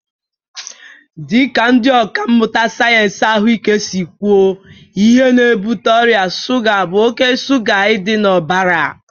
Dị ka ndị ọkà mmụta sayensị ahụike si kwuo, ihe na-ebute ọrịa shuga bụ oke shuga ị dị n'ọbara